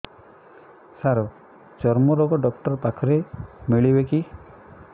ସାର ଚର୍ମରୋଗ ଡକ୍ଟର ପାଖରେ ମିଳିବେ କି